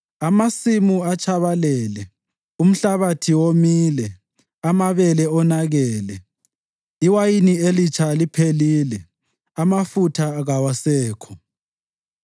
Amasimu atshabalele, umhlabathi womile; amabele onakele, iwayini elitsha liphelile, amafutha kawasekho.